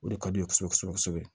O de ka di u ye kosɛbɛ kosɛbɛ kosɛbɛ